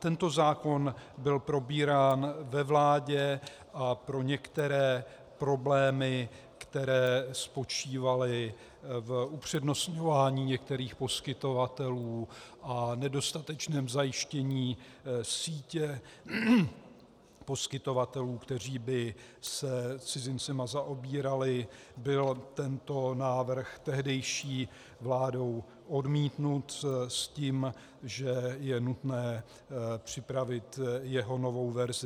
Tento zákon byl probírán ve vládě a pro některé problémy, které spočívaly v upřednostňování některých poskytovatelů a nedostatečném zajištění sítě poskytovatelů, kteří by se cizinci zaobírali, byl tento návrh tehdejší vládou odmítnut s tím, že je nutné připravit jeho novou verzi.